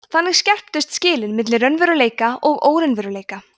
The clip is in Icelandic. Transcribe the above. þannig skerptust skilin milli raunveruleika og óraunveruleika